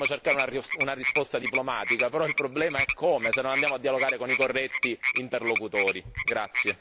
È chiaro che noi dovremmo cercare una risposta diplomatica, però il problema è come se non andiamo a dialogare con i corretti interlocutori.